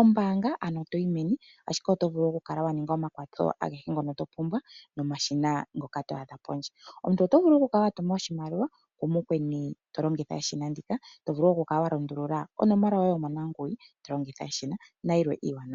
ombaanga, ano itooyi meni, ashike oto vulu okukala wa ninga omakwatho agehe ngoka to pumbwa nomashina ngoka to adha pondje. Omuntu oto vulu okukala wa tuma oshimaliwa kumukweni to longitha eshina ndika, to vulu okukala wa lundulula onomola yoye yomonaguwi to longitha eshina nayilwe wo iiwanawa.